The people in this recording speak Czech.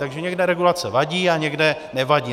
Takže někde regulace vadí a někde nevadí.